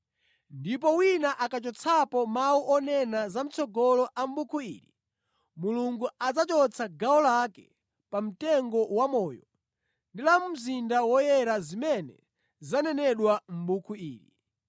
Ndipo wina akachotsapo mawu onena zamʼtsogolo a mʼbuku ili, Mulungu adzachotsa gawo lake pa mtengo wamoyo ndi la mu mzinda woyera zimene zanenedwa mʼbuku ili.”